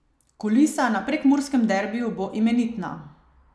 Kulisa na prekmurskem derbiju bo imenitna.